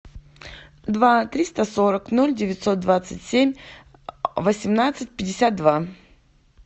два триста сорок ноль девятьсот двадцать семь восемнадцать пятьдесят два